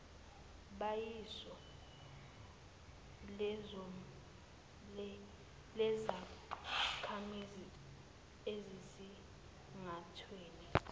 bayiso lezakhamizi ekusingathweni